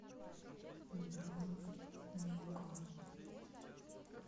бронь мико